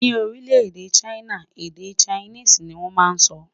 Ní orile-ede china, èdè Chinese ní wón má sọ